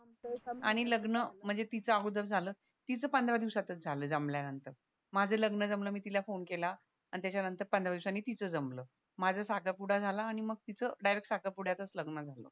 आणि तिचं अगोदर झालं तिचं पंधरा दिवसातच झालं जमल्यानंतर माझं लग्न जमलं मी तिला फोन केलाआणि त्याच्या नंतर पंधरा दिवसांनी तिचं जमलं माझा साखरपुडा झाला आणि तिचं डायरेक्ट साखरपुड्यातच लग्न झालं